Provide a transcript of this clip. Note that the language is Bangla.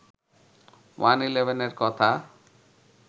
ওয়ান ইলেভেনের কথা